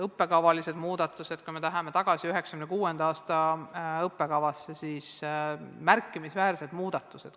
On ka õppekavalised muudatused – kui me läheme tagasi 1996. aastasse ja vaatame tookordset õppekava, siis nüüdseks on toimunud märkimisväärsed muudatused.